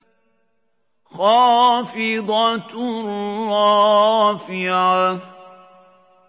خَافِضَةٌ رَّافِعَةٌ